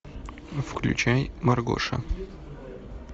включай маргоша